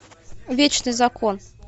вечный закон